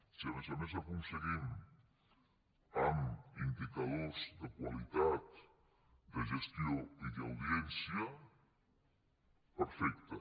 si a més a més ho aconseguim amb indicadors de qualitat de gestió i d’audiència perfecte